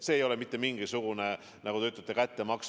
See ei ole mingisugune, nagu te ütlete, kättemaks.